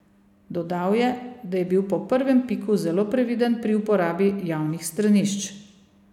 Dodal je, da je bil po prvem piku zelo previden pri uporabi javnih stranišč.